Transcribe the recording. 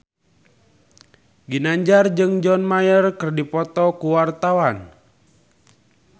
Ginanjar jeung John Mayer keur dipoto ku wartawan